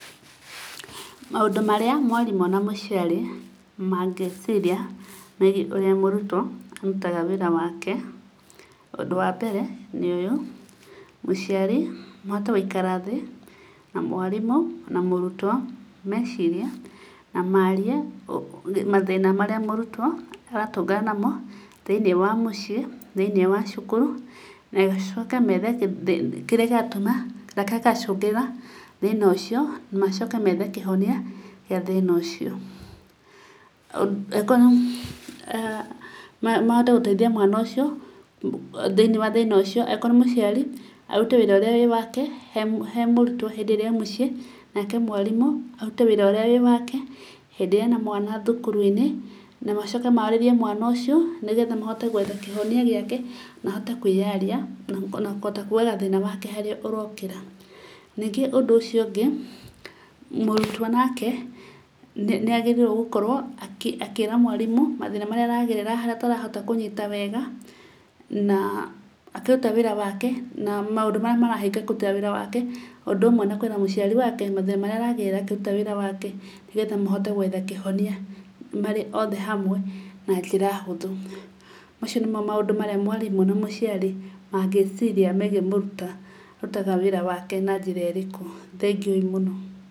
Maũndũ marĩa mwarimũ na mũciari mangĩciria megiĩ ũrĩa murutwo arutaga wĩra wake, ũndũ wa mbere nĩ ũyũ; mũciari mahote gũikara thĩ na mwarimũ na mũrutwo, mecirie na marie mathĩna marĩa mũrutwo aratũngana namo, thĩinĩ wa mũciĩ, thĩinĩ wa cukuru, macoke methe kĩrĩa kĩratũma na kĩrĩa kĩracũngĩrĩra thĩna ũcio, macoke methe kĩhonia gĩa thĩna ũcio. Akorwo, mahote gũteithia mwana ũcio thĩinĩ wa thĩna ũcio, akorwo mũciari, arute wĩra ũrĩa ũrĩ wake he he mũrutwo hĩndiĩ ĩría e mũciĩ, nake mwarimũ arute wĩra ũrĩa wĩ wake hĩndĩ ĩrĩa ena mwana thukuru-inĩ, na macokie marĩrie mwana ũcio nĩgetha mahote gwetha kĩhonia gĩake na ahote kwĩyaria na kũhota kugaga thĩna wake harĩa ũrokĩra. Ningĩ ũndũ ũcio ũngĩ, mũrutwo nake nĩ agĩrĩire gũkorwo akĩ akĩĩra mwarimũ mathĩna marĩa aragerera harĩa atarahota kũnyita wega na akĩrute wĩra wake. Na maũndũ marĩa marahĩnga kũruta wĩra wake, ũndũ ũmwe na kwĩra mũciari wake mathĩna marĩa aragerera akĩruta wĩra wake nĩgetha mahote gwetha kĩhonia marĩ othe hamwe na njĩra hũthũ. Macio nĩmo maũndũ marĩa mwarimũ na mũciari mangĩĩciria megie mũruta arutaga wĩra wake na njĩra ĩrĩkũ. Thengiũi mũno.